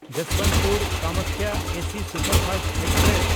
ᱡᱚᱥᱵᱚᱱᱛᱯᱩᱨ–ᱠᱟᱢᱟᱠᱭᱟ AC superfast express